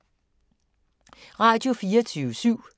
Radio24syv